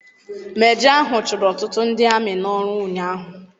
Mejọ ahụ chụrụ ọtụtụ ndị amị n'ọrụ ụnyaahụ.